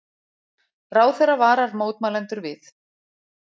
Ráðherra varar mótmælendur við